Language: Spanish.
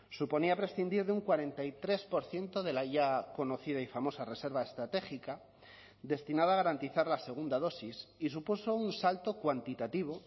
suponía prescindir de un cuarenta y tres por ciento de la ya conocida y famosa reserva estratégica destinada a garantizar la segunda dosis y supuso un salto cuantitativo